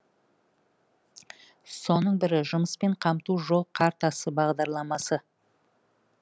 соның бірі жұмыспен қамту жол картасы бағдарламасы